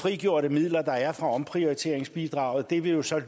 frigjorte midler der er fra omprioriteringsbidraget vil jo så